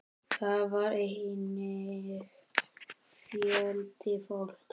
Þar var einnig fjöldi fólks.